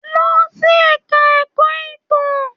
Lọ sí ẹ̀ka ẹ̀kọ́ ìtàn.